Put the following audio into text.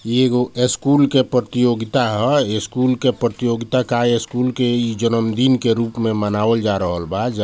ई एगो स्कूल के प्रतियोगिता ह स्कूल के प्रतियोगिता का स्कूल के ई जन्मदिन के रूप में मनावल जा रहल बा जा---